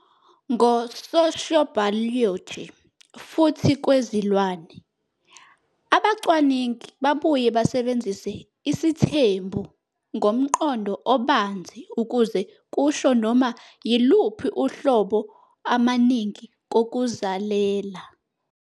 Ngo sociobiology futhi kwezilwane, abacwaningi babuye basebenzise "isithembu" ngomqondo obanzi ukuze kusho noma yiluphi uhlobo amaningi kokuzalela.